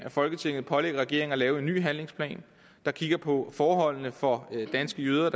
folketinget pålægger regeringen at lave en ny handlingsplan der kigger på forholdene for danske jøder